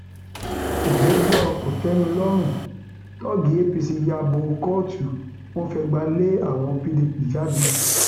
ìgbẹjọ um kòtèmilo tọọgì apc ya bo kóòtù um wọn fẹgbà lé àwọn pdp jáde